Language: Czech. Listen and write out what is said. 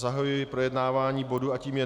Zahajuji projednávání bodu a tím je